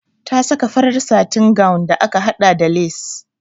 Ta saka farar satin gown da aka haɗa da lace.